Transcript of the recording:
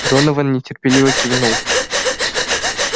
донован нетерпеливо кивнул